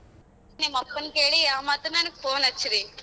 ನಿಮ್ ಅಪ್ಪನ್ ಕೇಳಿ ಮತ್ತ ನನಗ್ phone ಹಚ್ರಿ.